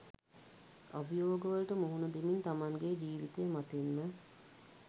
අභියෝගවලට මුහුණ දෙමින් තමන්ගේ ජීවිතය මතින්ම